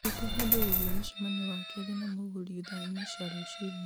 ndirikania ũndũ wĩĩgiĩ mũcemanio wa keerĩ na mũgũri thaa inya cia rũciinĩ